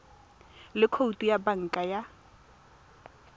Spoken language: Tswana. le khoutu ya banka fa